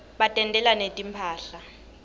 batentela netimphahla